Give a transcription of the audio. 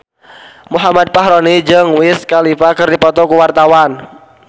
Muhammad Fachroni jeung Wiz Khalifa keur dipoto ku wartawan